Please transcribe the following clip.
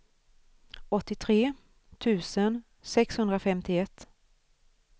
åttiotre tusen sexhundrafemtioett